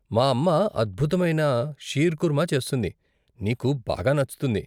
మా అమ్మ అద్భుతమైన షీర్కుర్మా చేస్తుంది, నీకు బాగా నచ్చుతుంది.